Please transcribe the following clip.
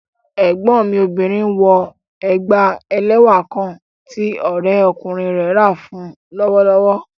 Ẹgbọn mi obìnrin nwọ ègbá èlẹ́wà kán tí òrẹ̀kúnrin rẹ̀ rá fún u lọ́wọ̀lọ́wọ̀